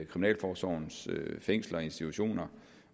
kriminalforsorgens fængsler og institutioner